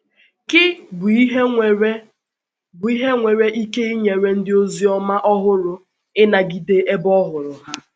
Kí bụ ihe nwere bụ ihe nwere ike inyere ndị oziọma ọhụrụ ịnagide ebe ọhụrụ ha?